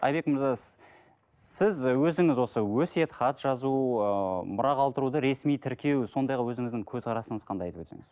айбек мырза сіз і өзіңіз осы өсиет хат жазу ыыы мұра қалдыруды ресми тіркеу сондайға өзіңіздің көзқарасыңыз қандай айтып өтсеңіз